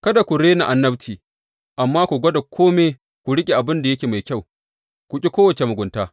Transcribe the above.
Kada ku rena annabci, amma ku gwada kome, ku riƙe abin da yake mai kyau, ku ƙi kowace mugunta.